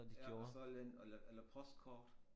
Ja så et eller andet eller eller postkort